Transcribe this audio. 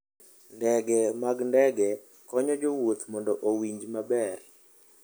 Ndege mag ndege konyo jowuoth mondo owinj maber.